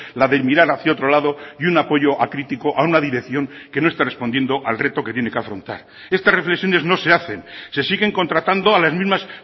la de mirar hacia otro lado y un apoyo acrítico a una dirección que no está respondiendo al reto que tiene que afrontar estas reflexiones no se hacen se siguen contratando a las mismas